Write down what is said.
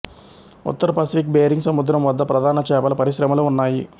ఉత్తర Pacific Bering సముద్రం వద్ద ప్రధాన చేపల పరిశ్రములు ఉన్నాయి